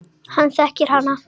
Hann þekkir hana.